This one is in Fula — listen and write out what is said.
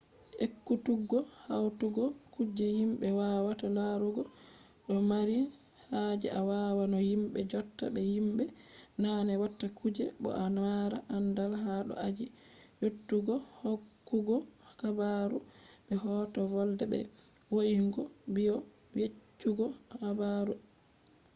ekkutuggo hautugo kuje himbe wawata larugo do mari haje a wawa no himbe jotta be himbe naane watta kuje bo a mara andal ha do aji yeutugohokkugo habaru be hoto volde be vo’ingo bidiyo yeccugo habaru etc